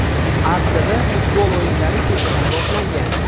Aslida futbol o‘yinlari kechadan boshlangan.